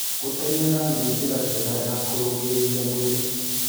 Gũtengera nĩ njĩra njega ya kũrũngĩrĩrĩa mwĩrĩ